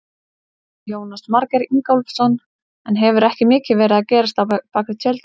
Jónas Margeir Ingólfsson: En hefur ekki mikið verið að gerast á bakvið tjöldin?